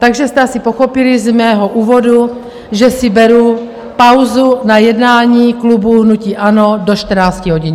Takže jste asi pochopili z mého úvodu, že si beru pauzu na jednání klubu hnutí ANO do 14 hodin.